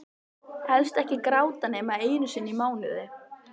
Helst ekki gráta nema einu sinni í mánuði.